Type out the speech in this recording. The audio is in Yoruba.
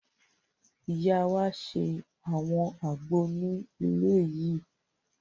Ìyá wa ṣe àwọn àgbo ní ilé yìí